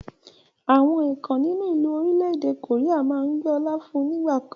àwọn èèkàn nínú ìlú ni Orílẹ̀ èdè koría máa ń gbé ọ̀la fún ní ìgbàkan